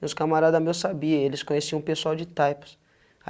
E os camaradas meus sabiam, eles conheciam o pessoal de Types. Aí